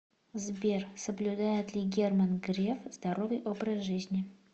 сбер соблюдает ли герман греф здоровый образ жизни